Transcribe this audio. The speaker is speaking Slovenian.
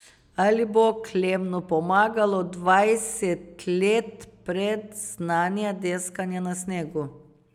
Ali bo Klemnu pomagalo dvajset let predznanja deskanja na snegu?